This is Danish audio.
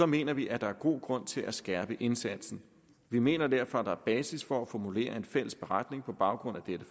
mener vi at der er god grund til at skærpe indsatsen vi mener derfor at der er basis for at formulere en fælles beretning på baggrund af dette